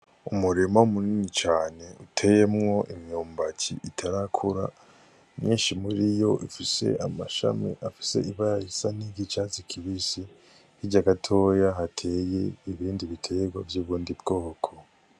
Umurima munini cane uteyemwo imyumbati itarakura, myinshi muriyo ifise abashamyi afise ibara risa n'iry'icatsi kibisi. Hirya gatoya hateye ibindi biterwa vy'ubundi bwoko.